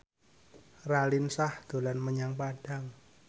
Raline Shah dolan menyang Padang